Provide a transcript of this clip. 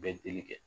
Bɛɛ teli kɛ